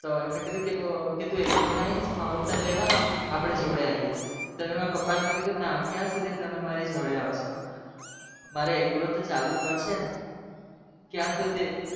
તો એમને કિધુ ક તુએકલો નથી ક